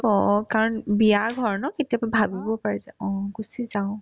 অ অ, কাৰণ বিয়া ঘৰ ন কেতিয়াবা ভাবিব পাৰে যে অ গুচি যাও